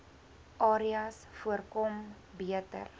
areas voorkom beter